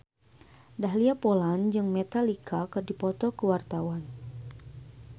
Dahlia Poland jeung Metallica keur dipoto ku wartawan